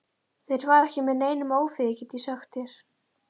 Þeir fara ekki með neinum ófriði, get ég sagt þér.